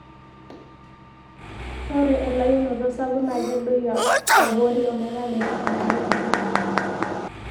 ore elauinoto sapuk naa kedoyio abori ,ometaa metii enkare enterit